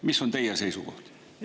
Mis on teie seisukoht?